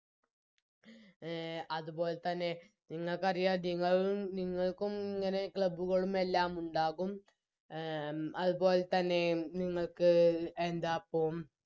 അഹ് അതുപോലെതന്നെ നിങ്ങൾക്കറിയാം നിങ്ങള് നിങ്ങൾക്കും ഇങ്ങനെ Club കളും എല്ലാം ഉണ്ടാകും അഹ് അത്പോലെതന്നെ നിങ്ങൾക്ക് എന്താപ്പോ